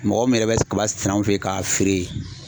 Mɔgɔ min yɛrɛ bɛ kaba sɛnɛ anw fɛ ye k'a feere